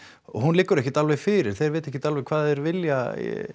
hún liggur ekkert alveg fyrir þeir vita ekkert alveg hvað þeir vilja